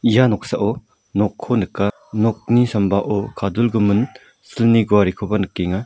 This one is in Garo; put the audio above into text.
ia noksao nokko nika nokni sambao kadulgimin silni guarekoba nikenga.